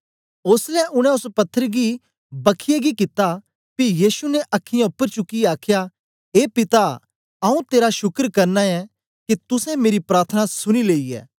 ओसलै उनै ओस पत्थर गी बख्खीयै गी कित्ता पी यीशु ने अखीयाँ उपर चुकियै आखया ए पिता आऊँ तेरा शुकर करना ऐं के तुसें मेरी प्रार्थना सुनी लेई ऐ